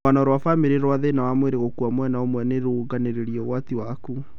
Rũgano rwa bamĩrĩ rwa thĩna wa mwĩrĩ gũkua mwena ũmwe nũruongagĩrĩra ũgwati waku